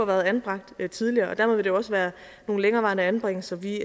været anbragt tidligere og der ville det også være nogle længerevarende anbringelser vi